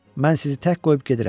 Mən sizi tək qoyub gedirəm.